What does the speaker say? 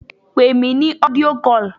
Pè mí ní audio call!